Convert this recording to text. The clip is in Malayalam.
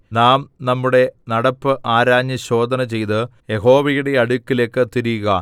നാം നമ്മുടെ നടപ്പ് ആരാഞ്ഞ് ശോധനചെയ്ത് യഹോവയുടെ അടുക്കലേക്ക് തിരിയുക